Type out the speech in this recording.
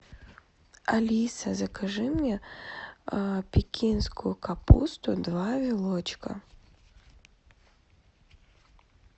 алиса закажи мне пекинскую капусту два вилочка